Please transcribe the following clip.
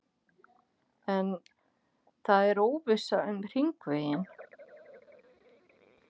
En það er óvissa um hringveginn?